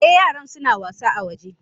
Eh yaran suna wasa a waje.